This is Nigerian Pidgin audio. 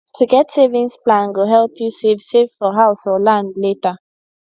to get savings plan go help you save save for house or land later